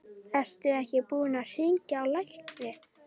Ertu ekki búinn að hringja á lækni?